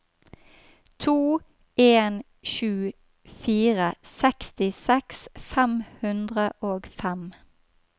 to en sju fire sekstiseks fem hundre og fem